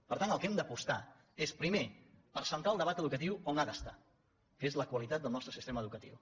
per tant pel que hem d’apostar és primer per centrar el debat educatiu on ha d’estar que és la qualitat del nos·tre sistema educatiu